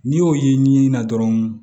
N'i y'o ye ɲinini na dɔrɔn